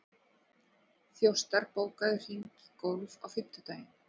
Þjóstar, bókaðu hring í golf á fimmtudaginn.